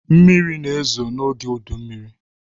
Mmiri na-ezo n’oge udummiri